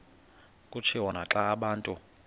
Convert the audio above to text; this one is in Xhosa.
kutshiwo naxa abantu